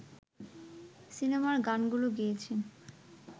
সিনেমার গানগুলো গেয়েছেন